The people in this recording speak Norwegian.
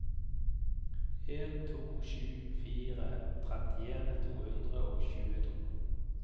en to sju fire trettien to hundre og tjueto